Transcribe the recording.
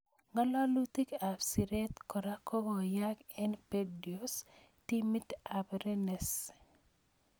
Ngalalutik ab siret kora kokoyayak eng Bordeaux timit ab Rennes.